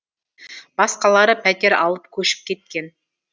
басқалары пәтер алып көшіп кеткен